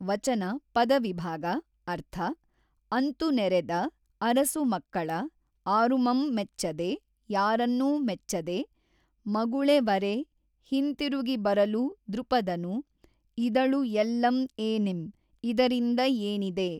ವಚನ ಪದವಿಭಾಗ ಅರ್ಥ ಅಂತು ನೆರೆದ ಅರಸುಮಕ್ಕಳ ಆರುಮಂ ಮೆಚ್ಚದೆ ಯಾರನ್ನೂ ಮೆಚ್ಚದೆ ಮಗುೞೆ ವರೆ ಹಿಂತಿರುಗಿಬರಲು ದ್ರುಪದನು ಇದಳು ಎಲ್ಲಮ್ ಏನಿಂ ಇದರಿಂದ ಏನಿದೆ!